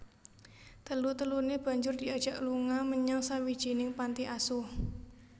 Telu teluné banjur diajak lunga menyang sawijining panti asuh